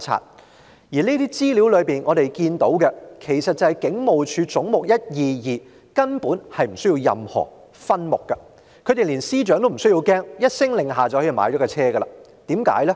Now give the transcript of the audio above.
在前述文件和資料中，我們看到"總目 122― 香港警務處"其實根本無須下設任何分目，警隊連司長也不害怕，只要一聲令下便可以購買車輛。